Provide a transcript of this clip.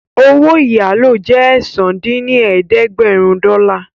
Owó ìyálò jẹ́ ẹ̀sán dín ní ẹ̀ẹ́dẹ́gbẹ́rún dọ́là